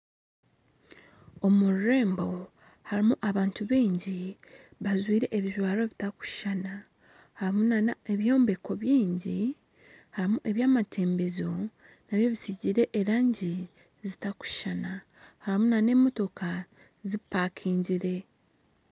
Omururembo harimu abantu baingi bajwaire ebijwaro bitakushushana harimu nana ebyombeko bingi harimu ebyamatembezo nabyo bisiigire erangi zitakushushana harimu nana emotooka zipakingire